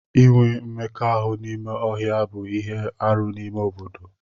Inwe mmekọahụ n'ime ọhịa bụ ihe arụ n'ime obodo ụfọdụ.